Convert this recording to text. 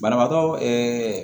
Banabaatɔ